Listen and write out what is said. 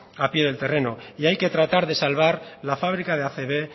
a pie del terreno y hay que tratar de salvar la fábrica de acb